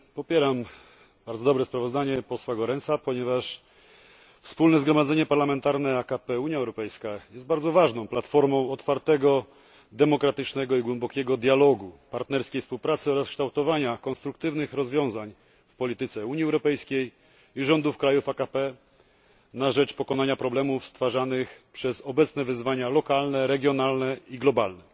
Popieram bardzo dobre sprawozdanie posła Goerensa, ponieważ Wspólne Zgromadzenie Parlamentarne AKP UE jest bardzo ważną platformą otwartego, demokratycznego i głębokiego dialogu, partnerskiej współpracy oraz kształtowania konstruktywnych rozwiązań w polityce Unii Europejskiej i rządów krajów AKP na rzecz pokonania problemów stwarzanych przez obecne wyzwania lokalne, regionalne i globalne.